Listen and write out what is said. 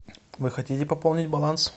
вы хотите пополнить баланс